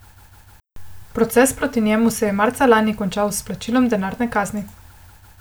Proces proti njemu se je marca lani končal s plačilom denarne kazni.